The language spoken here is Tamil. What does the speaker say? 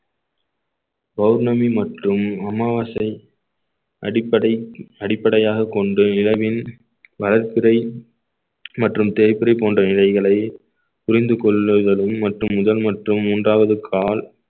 பௌர்ணமி மற்றும் அமாவாசை அடிப்படை அடிப்படையாகக் கொண்டு இரவில் வளர்பிறை மற்றும் தேய்பிறை போன்ற இலைகளை புரிந்து கொள்ளுதலும் மற்றும் முதல் மற்றும் மூன்றாவது கால்